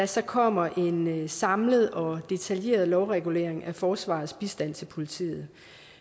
så kommer en samlet og detaljeret lovregulering af forsvarets bistand til politiet